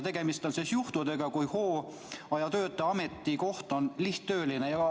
Tegemist on juhtudega, kui hooajatöötaja ametikoht on lihttööline.